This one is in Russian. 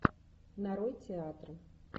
нарой театр